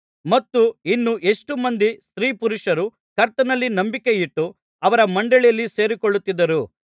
ಮತ್ತು ಇನ್ನು ಎಷ್ಟೋ ಮಂದಿ ಸ್ತ್ರೀಪುರುಷರು ಕರ್ತನಲ್ಲಿ ನಂಬಿಕೆಯಿಟ್ಟು ಅವರ ಮಂಡಳಿಯಲ್ಲಿ ಸೇರಿಕೊಳ್ಳುತ್ತಿದ್ದರು